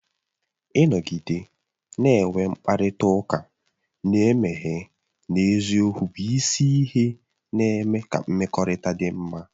Ịnọgide na-enwe mkparịta ụka na-emeghe na eziokwu bụ isi ihe na-eme ka mmekọrịta dị mma